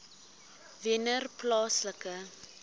wennerplaaslike